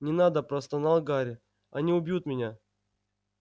не надо простонал гарри они убьют меня